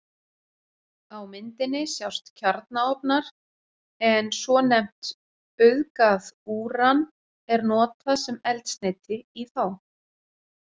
Á myndinni sjást kjarnaofnar en svonefnt auðgað úran er notað sem eldsneyti í þá.